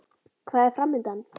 Hvað er framundan?